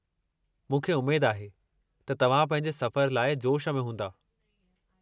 मूंखे उमेद आहे त तव्हां पंहिंजे सफ़र लाइ जोश में हूंदा।